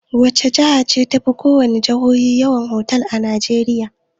Wace jiha ce tafi ko wace jihohi yawan otal a Najeriya?